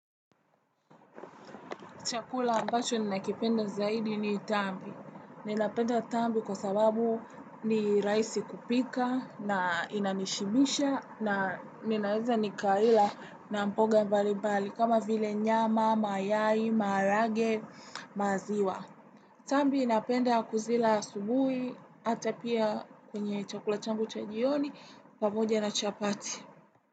Chakula ambacho ninaikipenda zaidi ni tambi. Ninapenda tambi kwa sababu ni rahisi kupika na inanishibisha na ninaweza nikaila na mboga nbalimbali kama vile nyama, mayai, marage, maziwa. Tambi inapenda kuzila asubuhi ata pia kwenye chakula changu cha jioni pamoja na chapati.